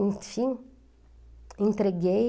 Enfim, entreguei.